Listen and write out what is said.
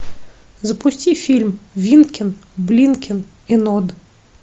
запусти фильм винкин блинкин и нод